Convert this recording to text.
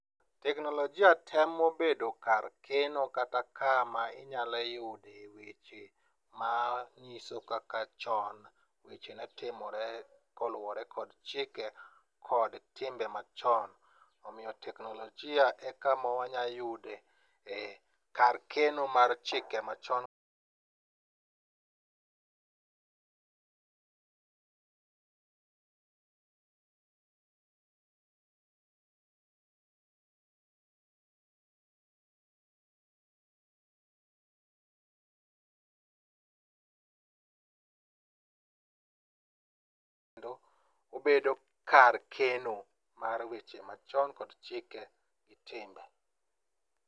Teknolojia temo bedo kar keno kata kama inyalo yude weche manyiso kaka chon weche ne timore koluwore kod timbe machon. Omiyo teknolojia e kama wanyayude, kar keno mar chike machon.